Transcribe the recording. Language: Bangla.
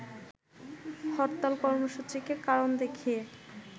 হরতাল কর্মসূচিকে কারণ দেখিয়ে